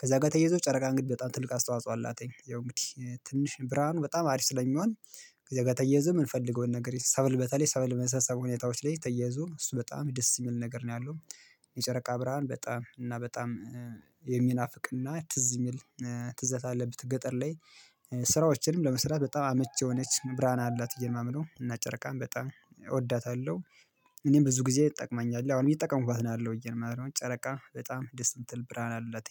ከዛ ጋር ተየዞ ጨረቃ እንግዲህ በጣም ትልቅ አስተዋጽኦ አላትኝ ያው እንግዲህ ትንሽ ብርሃኑ በጣም አሪፍ ስለሚሆን ከዚያ ጋር ተያይዞ የምንፈልገውን ነገር ሰብል በተለይ ሰብል መሰብሰብ ሁኔታዎች ላይ ተያይዞ እሱ በጣም ደስ የሚል ነገር ነው ያለው። የጨረቃ ብርሃን በጣም እና በጣም የሚናፍቅና ትዝ የሚል ትዝታ አለብት ገጠር ላይ ስራዎችንም ለመስራት በጣም አመች የሆነች ብርሃን አላት ብዬ ነው ማምነው፤ እና ጨረቃን በጣም እወዳታለሁ። እኔም ብዙ ጊዜ እጠቅመኛለሁ አሁን እየተጠቀሙባት ነው ያለሁ ብዬ ነው ማምነው ጨረቃ በጣም ደስ ምትል ብርሃን አላትኝ።